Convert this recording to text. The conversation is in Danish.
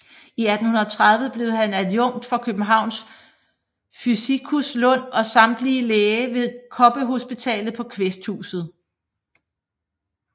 I 1830 blev han adjunkt hos Københavns fysikus Lund og samtidig læge ved Koppehospitalet på Kvæsthuset